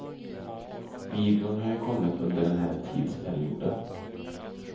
Videon har ju kommit under den här tidsperioden.